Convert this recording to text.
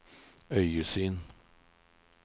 øyesyn